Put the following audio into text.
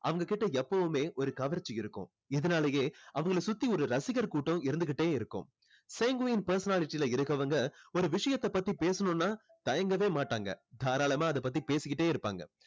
அவங்க கிட்ட எப்போவுமே ஒரு கவர்ச்சி இருக்கும் இதனாலயே அவங்களை சுத்தி ஒரு ரசிகர் கூட்டம் இருந்துக்கிட்டே இருக்கும் sanguine personality ல இருக்கவங்க ஒரு விஷயத்த பத்தி பேசணும்னா தயங்கவே மாட்டாங்க தாரளமா அதை பத்தி பேசிக்கிட்டே இருப்பாங்க